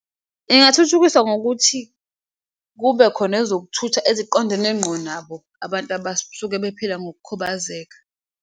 Ingathuthukiswa ngokuthi kube khona ezokuthutha eziqondene nqo nabo abantu abaesuke bephila ngokukhubazeka.